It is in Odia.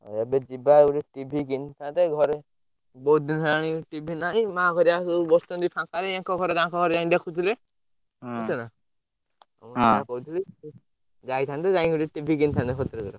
ଆଉ ଏବେ ଯିବା ଗୋଟେ TV କିଣିଥାନ୍ତେ ଘରେ ବହୁତ ଦିନ ହେଲାଣି TV ନାହି ମାଆ ହଇରାଣ ହେଇ ବସିଛନ୍ତି ଫାଙ୍କାରେ ଆଙ୍କ ଘରେ ତାଙ୍କ ଘରେ ଯାଇ ଦେଖୁଥିଲେ ବୁଝୁଛନା ହୁଁ ମୁଁ ତାକୁ ହଁ କହୁଥିଲି ତୁ ଯାଇଥାନ୍ତୁ ଯାଇକି ସେଠି TV କିଣିଥାନ୍ତେ ଭଦ୍ରକରେ।